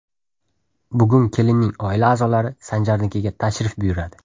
Bugun kelinning oila a’zolari Sanjarnikiga tashrif buyuradi.